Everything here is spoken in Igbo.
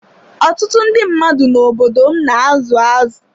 Ọtụtụ ndị mmadụ n'obodo m na azụ azụ.